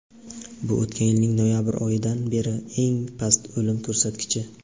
bu o‘tgan yilning noyabr oyidan beri eng past o‘lim ko‘rsatkichi.